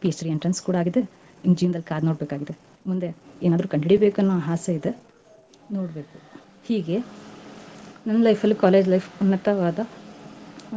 Ph.D. entrance ಕೂಡಾ ಆಗಿದೆ. ಇನ್ನು ಜೀವ್ನದಲ್ ಕಾದು ನೋಡ್ಬೇಕಾಗಿದೆ. ಮುಂದೆ ಏನಾದ್ರೂ ಕಂಡ್ ಹಿಡಿಬೇಕು ಅನ್ನೋ ಆಸೆ ಇದೆ ನೋಡ್ಬೇಕು. ಹೀಗೆ, ನನ್ life ಅಲ್ಲೂ college life ಉನ್ನತವಾದ